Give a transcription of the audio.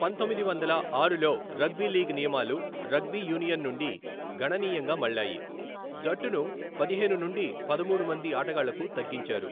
పంతొమ్మిది వందల ఆరులో రగ్బీ లీగ్ నియమాలు రగ్బీ యూనియన్ నుండి గణనీయంగా మళ్ళాయి, జట్టును పదిహేను నుండి పదమూడు మంది ఆటగాళ్లకు తగ్గించారు.